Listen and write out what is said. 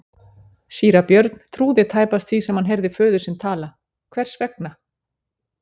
Síra Björn trúði tæpast því sem hann heyrði föður sinn tala:-Hvers vegna!